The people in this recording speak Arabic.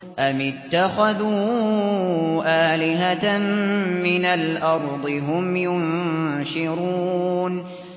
أَمِ اتَّخَذُوا آلِهَةً مِّنَ الْأَرْضِ هُمْ يُنشِرُونَ